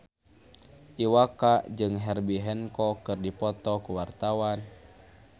Iwa K jeung Herbie Hancock keur dipoto ku wartawan